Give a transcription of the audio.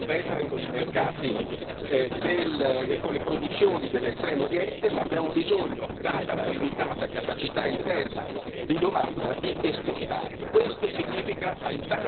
Quindi anche noi possiamo competere con i mercati e con le produzioni dell'Estremo Oriente ma abbiamo bisogno, data la limitata capacità interna di domanda, di esportare.